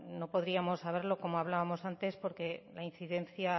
no podríamos saberlo como hablábamos antes porque la incidencia